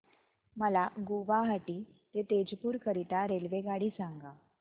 मला गुवाहाटी ते तेजपुर करीता रेल्वेगाडी सांगा